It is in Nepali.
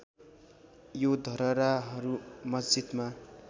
यो धरहराहरू मस्जिदमा